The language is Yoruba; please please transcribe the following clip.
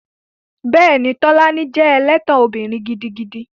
Bẹ́ẹ̀ni, Tolani jẹ́ ẹlẹ́tàn obìnrin gidigidi